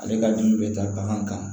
Ale ka dimi bɛ taa bagan kan